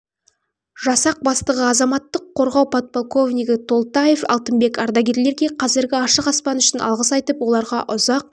жасақ бастығы азаматтық қорғау подполковнигі толтаев алтынбек ардагерлерге қазіргі ашық аспан үшін алғыс айтып оларға ұзақ